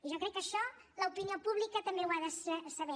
jo crec que això l’opinió pública també ho ha de saber